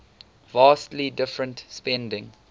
vastly different spending